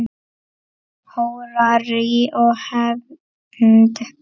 Hórarí og hefnd?